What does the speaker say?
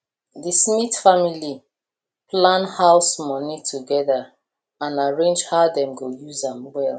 the smith family plan house money together and arrange how dem go use am well